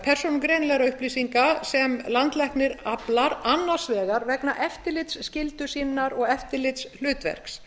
persónugreinanlegra upplýsinga sem landlæknir aflar annars vegar vegna eftirlitsskyldu sinnar og eftirlitshlutverks